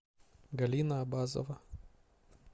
галина абазова